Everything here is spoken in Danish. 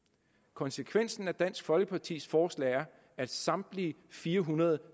konsekvensen af dansk folkepartis forslag er at samtlige fire hundrede